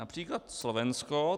Například Slovensko.